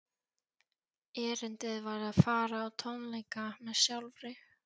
Erindið var að fara á tónleika með sjálfri